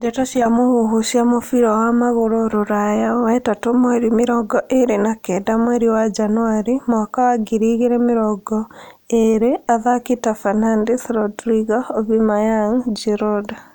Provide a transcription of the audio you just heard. Ndeto cia mũhuhu cia mũbira wa magũrũ Rũraya wetatũ mweri mĩrongo ĩrĩ na kenda mweri wa Januarĩ mwaka wa ngiri igĩrĩ mĩrongo ĩrĩ athaki ta Fernandes, Rodrigo, Aubemayang, Giroud